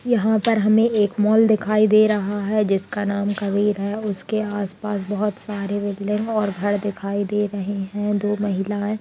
यहाँ पर हमें एक मॉल दिखाई दे रहा है जिसका नाम कबीर है उसके आस-पास बहुत सारे बिल्डिंग और घर दिखाई दे रहे हैं दो महिलाएं --